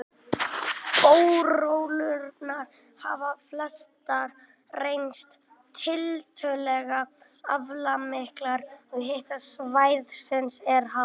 Borholurnar hafa flestar reynst tiltölulega aflmiklar, og hiti svæðisins er hár.